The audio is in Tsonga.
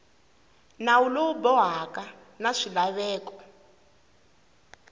nawu lowu bohaka na swilaveko